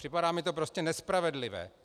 Připadá mi to prostě nespravedlivé.